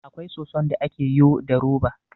Akwai soson da ake yo da roba